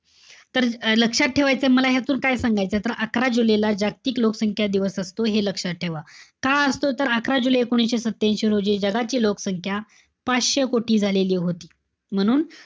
तर लक्षात ठेवायचय. मला यातून काय सांगायचंय. तर अकरा जुलैला जागतिक लोकसंख्या दिवस असतो हे लक्षात ठेवा. का असतो तर अकरा जुलै एकोणीशे सत्यांशी रोजी जगाची लोकसंख्या पाचशे कोटी झालेली होती. म्हणून,